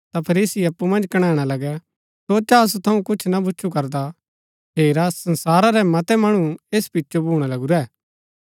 ता फरीसी अप्पु मन्ज कणैणा लगै सोचा असु थऊँ कुछ ना भूच्चु करदा हेरा संसारा रै मतै मणु ऐस पिचो भूणा लगूरै